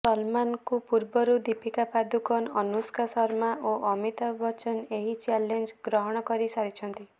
ସଲମାନ୍ଙ୍କ ପୂର୍ବରୁ ଦୀପିକା ପାଦୂକୋନ୍ ଅନୁଷ୍କା ଶର୍ମା ଓ ଅମିତାଭ ବଚ୍ଚନ ଏହି ଚ୍ୟାଲେଞ୍ଜ ଗ୍ରହଣ କରିସାରିଛନ୍ତି